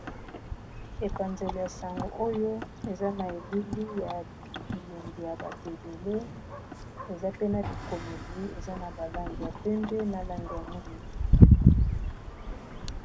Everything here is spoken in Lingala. Epanzelo ya sango oyo eza na elili ya bilongi ya bato ebele eza pe na bikomeli eza na ba langi ya pembe na langi ya mwindu.